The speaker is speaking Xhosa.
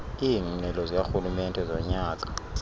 iingxelo zikarhulumente zonyaka